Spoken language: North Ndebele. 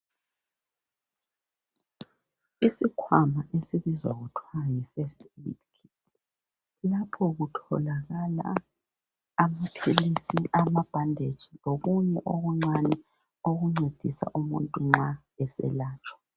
Isikhwama esibizwa kuthwa yi"First aid kit".Lapho kutholakala amaphilisi, amabhanditshi lokunye okuncane okuncedisa umuntu nxa eselatshwa.